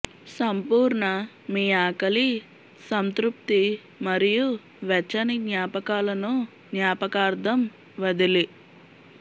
సంపూర్ణ మీ ఆకలి సంతృప్తి మరియు వెచ్చని జ్ఞాపకాలను జ్ఞాపకార్థం వదిలి